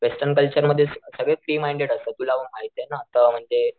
कि western culture मध्ये सगळे फ्री माईंडेड असतात तुला पण माहितीये ना तर म्हणजे,